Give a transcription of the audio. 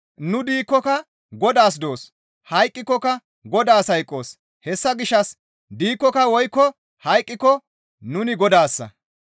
Nu diikkoka Godaas doos; hayqqikokka Godaas hayqqoos; hessa gishshas diikkoka woykko hayqqiko nuni Godaassa.